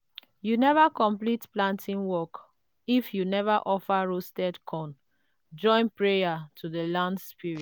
you never complete planting work if you never offer roast corn join prayer to the land spirits.